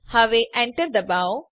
હવે એન્ટર દબાવો